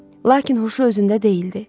Lakin huşu özündə deyildi.